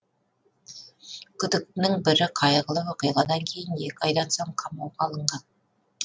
күдіктінің бірі қайғылы оқиғадан кейін екі айдан соң қамауға алынған